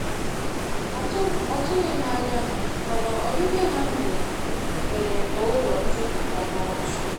Atụghị m anya ha, mana ọbibia ha mere mere ka ụlọ m juputa n'ọchị.